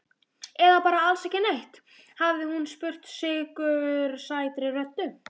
Eða bara alls ekki neitt? hafði hún spurt sykursætri röddu.